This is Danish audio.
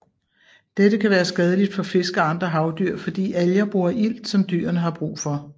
Dette kan være skadeligt for fisk og andre havdyr fordi alger bruger ilt som dyrene har brug for